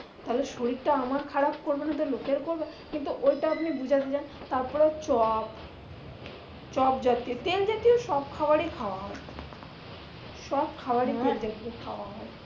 তাহলে শরীরটা আমার খারাপ করবেনা লোকের করবে? কিন্তু ঐটা আপনি বুঝেগেছেন তারপরে হচ্চে চপজাতীয় তেলজতীয় সব খাবারই খাওয়া হয়। সব খাবারই তেলজাতীয় খাওয়া হয়।